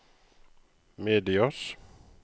medias